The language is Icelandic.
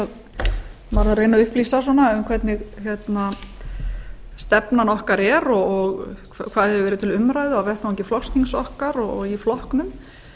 að reyna að upplýsa svona um hvernig stefnan okkar er og hvað hefur verið til umræðu á vettvangi flokksþings okkar og í flokknum